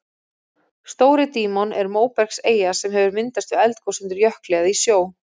Stóri-Dímon er móbergseyja sem hefur myndast við eldgos undir jökli eða í sjó.